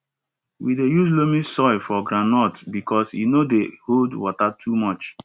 we dey use loamy soil for groundnuts because e no dey hold water too much